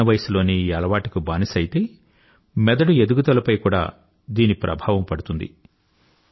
చిన్న వయసులోనే ఈ అలవాటుకి బానిస అయితే మెదడు ఎదుగుదలపై కూడా దీని ప్రభావం పడుతుంది